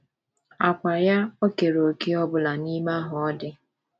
Àkwá ya ò keere òkè ọ bụla n’ime ahụ ọ dị